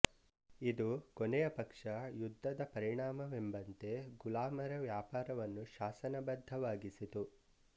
ಇದು ಕೊನೆಯ ಪಕ್ಷ ಯುದ್ಧದ ಪರಿಣಾಮವೆಂಬಂತೆ ಗುಲಾಮರ ವ್ಯಾಪಾರವನ್ನು ಶಾಸನಬದ್ಧವಾಗಿಸಿತು